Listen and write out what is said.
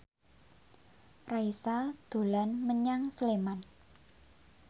Raisa dolan menyang Sleman